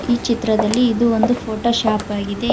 ಈ ಚಿತ್ರದಲ್ಲಿ ಇದು ಒಂದು ಫೋಟೋಶಾಪ್ ಆಗಿದೆ.